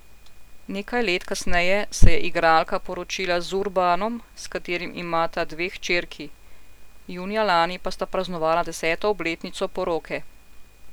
Nekaj let kasneje se je igralka poročila z Urbanom, s katerim imata dve hčerki, junija lani pa sta praznovala deseto obletnico poroke.